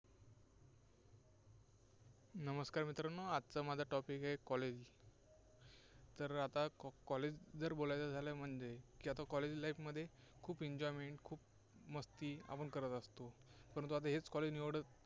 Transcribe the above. नमस्कार मित्रांनो, आजचा माझा topic आहे college तर आता College जर बोलायचं झालं म्हणजे की आता College life मध्ये खूप enjoyment खूप मस्ती आपण करत असतो. परंतु हेच college